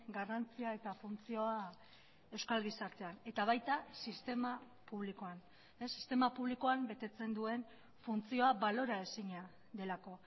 garrantzia eta funtzioa euskal gizartean eta baita sistema publikoan sistema publikoan betetzen duen funtzioa balora ezina delako